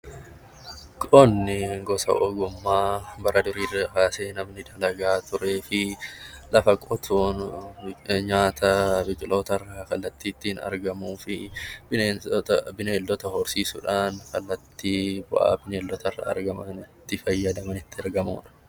Qonni gosa ogummaa namni bara durii kaasee namni dalagaa turee fi lafa qotuun nyaata biqiloota irraa kallattii ittiin argamuu fi bineensota horsiisuudhaan kallattii bu'aa bineeldota irraa argamuun itti fayyadamudha